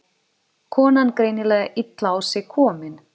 Konan greinilega illa á sig komin.